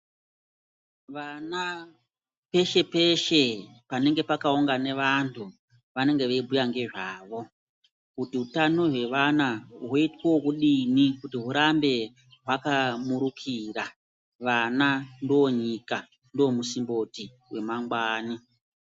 Vana peshe peshe panenge pakaungana vandu vanenge vei bhuya ngezvavo kuti hutano hwevana hwoitwo wekudini kuti hwurambe hwakamurukira vana ndonyika ndo musimboti wema ngwani.